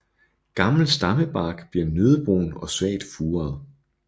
Gammel stammebark bliver nøddebrun og svagt furet